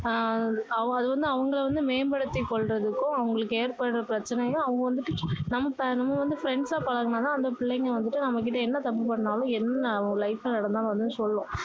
அஹ் அது வந்து அவங்க வந்து மேன்படுத்தி கொள்றதுக்கும் அவங்களுக்கு ஏற்படுற பிரச்சனைய அவங்க வந்துட்டு நம்ம நம்ம வந்து friends சா பழகுனோம்னா அந்த பிள்ளைங்க வந்துட்டு நம்மக்கிட்ட அன்ன தப்பு பண்ணாலும் என்ன life ல நடந்தாலும் வந்து சொல்லும்